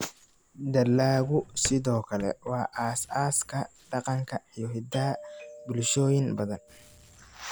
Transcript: Dalaggu sidoo kale waa aasaaska dhaqanka iyo hiddaha bulshooyin badan.